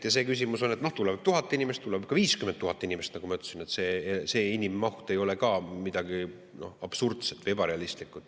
Ja küsimus on, et tuleb 1000 inimest, tuleb ka 50 000 inimest – nagu ma ütlesin, see inimmaht ei ole midagi absurdset või ebarealistlikku.